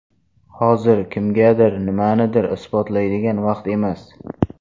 Hozir kimgadir nimanidir isbotlaydigan vaqt emas.